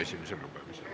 Jõudu!